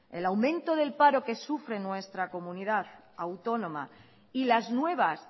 el aumento del paro que sufre nuestra comunidad autónoma y las nuevas